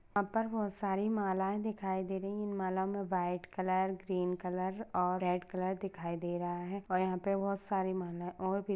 यहापर बोहत सारी मालाएँ दिखाई दे रही है इन माला मे व्हाइट कलर ग्रीन कलर और रेड कलर दिखाई दे रहा है और यहापे बोहत सारी मालाएँ और भी--